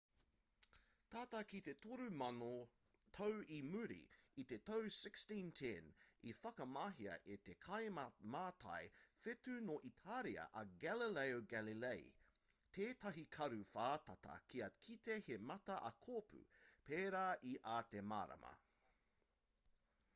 tata ki te toru mano tau i muri i te tau 1610 i whakamahia e te kaimātai whetū nō itāria a galileo galilei tētahi karu whātata kia kite he mata ā kōpū pērā i ā te marama